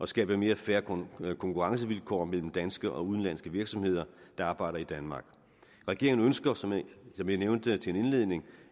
skabe mere fair konkurrencevilkår mellem danske og udenlandske virksomheder der arbejder i danmark regeringen ønsker som jeg nævnte i indledningen